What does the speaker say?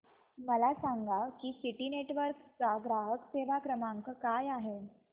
मला सांगा की सिटी नेटवर्क्स चा ग्राहक सेवा क्रमांक काय आहे